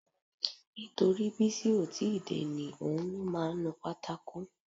Nítorí Bísí ó ti ì dé ni. Òun ló máa ń nu pátákò